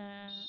உம்